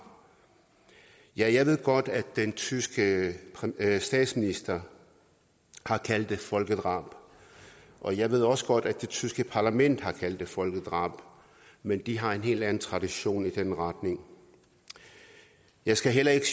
jeg jeg ved godt at den tyske statsminister har kaldt det folkedrab og jeg ved også godt at det tyske parlament har kaldt det folkedrab men de har en helt anden tradition i den retning jeg skal heller ikke